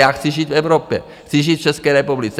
Já chci žít v Evropě, chci žít v České republice.